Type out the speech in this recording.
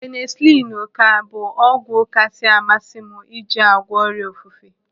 Penisilinu ka bụ ọgwụ kasị amasị m iji àgwọ́ ọrịa ofufe.